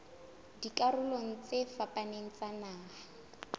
dikarolong tse fapaneng tsa naha